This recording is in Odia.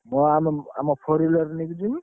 ମୁଁ ଆମ ଆମ four wheeler ନେଇକି ଯିବି।